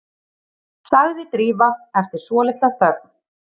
sagði Drífa eftir svolitla þögn.